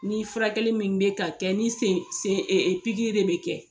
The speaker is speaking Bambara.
Ni furakɛli min be ka kɛ ni sen sen e e pikiri de be kɛ